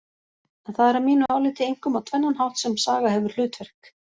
En það er að mínu áliti einkum á tvennan hátt sem saga hefur hlutverk.